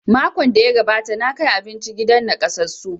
Makon da ya gabata na kai abinci gidan nakasassu